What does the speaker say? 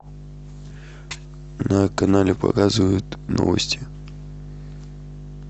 на канале показывают новости